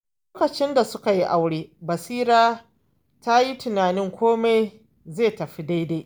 Lokacin da suka yi aure, Basira ta yi tunanin komai zai tafi daidai.